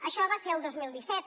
això va ser al dos mil disset